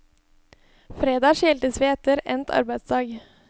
Fredag skiltes vi etter endt arbeidsdag.